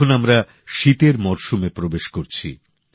এখন আমরা শীতের মরশুমে প্রবেশ করছি